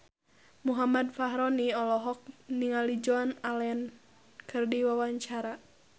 Muhammad Fachroni olohok ningali Joan Allen keur diwawancara